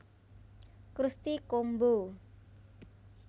Krusty Combo